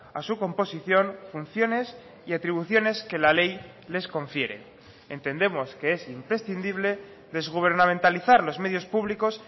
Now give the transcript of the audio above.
a su composición funciones y atribuciones que la ley les confiere entendemos que es imprescindible desgubernamentalizar los medios públicos